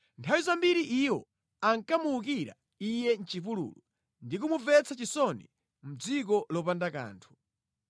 Nthawi zambiri iwo ankamuwukira Iye mʼchipululu ndi kumumvetsa chisoni mʼdziko lopanda kanthu!